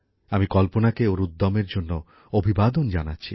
আমি কল্পনাকে ওর উদ্যমের জন্য অভিবাদন জানাচ্ছি